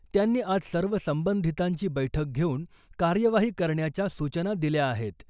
त्यांनी आज सर्व संबंधितांची बैठक घेऊन कार्यवाही करण्याच्या सूचना दिल्या आहेत .